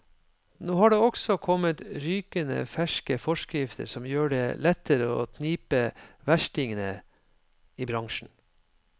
Nå har det også kommet rykende ferske forskrifter som gjør det lettere å knipe verstingene i bransjen.